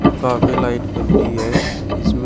काफी लाइट बर रही है इसमें--